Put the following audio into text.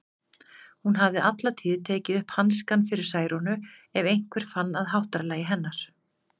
Hún hafði alla tíð tekið upp hanskann fyrir Særúnu ef einhver fann að háttalagi hennar.